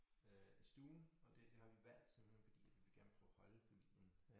Øh stuen og det har vi valgt simpelthen fordi at vi gerne vil prøve at holde familien